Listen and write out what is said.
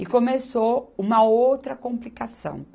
E começou uma outra complicação.